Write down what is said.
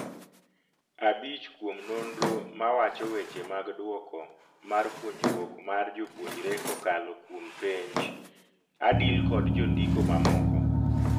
Abich kuom nonro ma wacho weche mag dwoko mar puonjruok mar jopuonjre kokalo kuom penj ((? Adil kod jo ndiko mamoko)